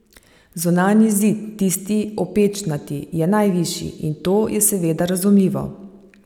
Zunanji zid, tisti opečnati, je najvišji, in to je seveda razumljivo.